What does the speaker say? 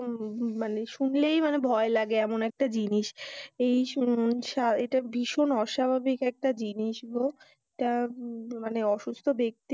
মানে শুনলেই মানে ভয় লাগে এমন একটা জিনিস এই শুন সা এটা একটা ভীষণ অস্বাভাবিক একটা জিনিস গো, অসুস্থ দেখতে,